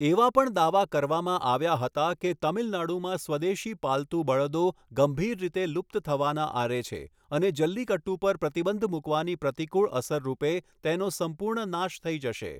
એવા પણ દાવા કરવામાં આવ્યા હતા કે તમિલનાડુમાં સ્વદેશી પાલતુ બળદો ગંભીર રીતે લુપ્ત થવાના આરે છે અને જલ્લિકટ્ટુ પર પ્રતિબંધ મૂકવાની પ્રતિકૂળ અસર રૂપે તેનો સંપૂર્ણ નાશ થઈ જશે.